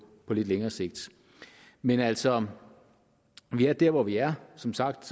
lidt længere sigt men altså vi er der hvor vi er som sagt